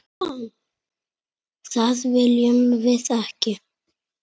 Það viljum við ekki.